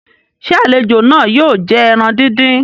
ṣe àlejò náà yóò jẹ ẹran dín dín?